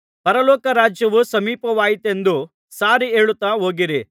ಪರಲೋಕ ರಾಜ್ಯವು ಸಮೀಪವಾಯಿತೆಂದು ಸಾರಿಹೇಳುತ್ತಾ ಹೋಗಿರಿ